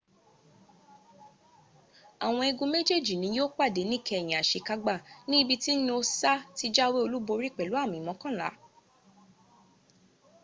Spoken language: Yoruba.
àwọn igun méjèèjì ni yíó pàdé níkẹyìn àsekágbá ní ibi tí noosa ti jáwé olúborí pẹ̀lú àmì mọ́kànlá